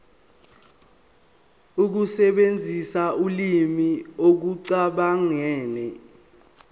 ukusebenzisa ulimi ekucabangeni